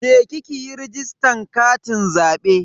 Je ki yi rajistan katin zabe.